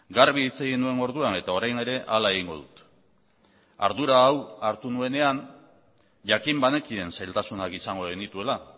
garbi hitz egin nuen orduan eta orain ere hala egingo dut ardura hau hartu nuenean jakin banekien zailtasunak izango genituela